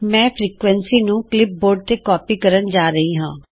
ਮੈਂ ਫ੍ਰੀਕੁਏਂਸੀ ਨੂੰ ਕਲਿਪਬੋਰਡ ਤੇ ਕਾਪੀ ਕਰਨ ਜਾ ਰਹੀ ਹਾਂ